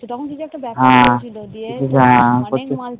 তখন কিছু একটা ব্যাপার হৈছিল